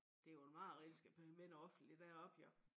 Det jo et mareridt at skal være med noget offentligt derop jo